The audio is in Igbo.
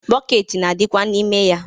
Bọket na-adikwa n'ime ya.